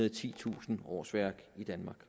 og titusind årsværk i danmark